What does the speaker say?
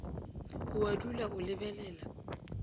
o a dula o lebelela